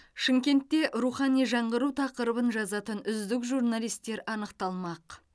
шымкентте рухани жаңғыру тақырыбын жазатын үздік журналистер анықталмақ